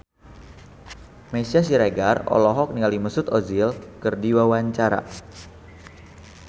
Meisya Siregar olohok ningali Mesut Ozil keur diwawancara